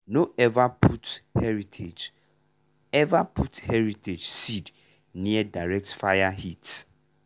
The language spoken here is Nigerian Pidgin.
no ever put heritage ever put heritage seed near direct fire heat.